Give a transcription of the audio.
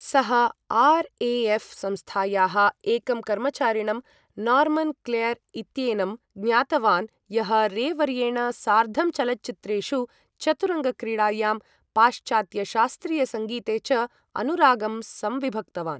सः आर्.ए.एऴ्. संस्थायाः एकं कर्मचारिणं नार्मन् क्लेर् इत्येनं ज्ञातवान्, यः रे वर्येण सार्धं चलच्चित्रेषु, चतुरङ्ग क्रीडायां, पाश्चात्यशास्त्रीयसङ्गीते च अनुरागं संविभक्तवान्।